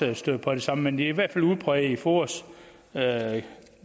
der støder på det samme men i hvert fald udbredt blandt foas